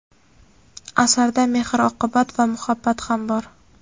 Asarda mehr-oqibat va muhabbat ham bor.